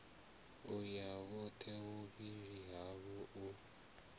uya vhothe vhuvhili havho u